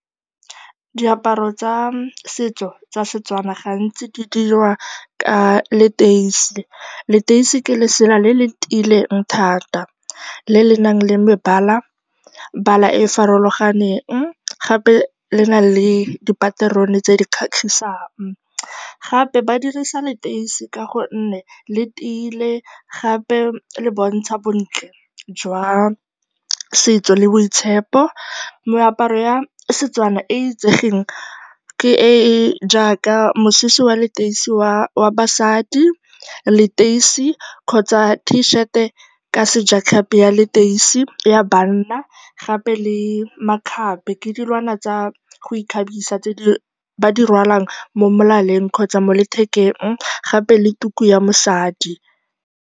Diaparo tsa setso tsa Setswana ga ntsi di dirwa ka leteisi. Leteisi ke lesela le le tiileng thata le le nang le mebalabala e e farologaneng, gape le na le dipaterone tse di kgatlhisang. Gape ba dirisa leteisi ka gonne le tiile, gape le bontsha bontle jwa setso le boitshepo. Meaparo ya Setswana e e itsegeng ke e e jaaka mosese wa leteisi wa basadi, leteisi kgotsa t-shirt ka sejatlhapi ya leteisi ya banna gape le makgabe, ke dilwana tsa go ikgabisa tse ba di rwalang mo molaleng kgotsa mo lethekeng, gape le tuku ya mosadi.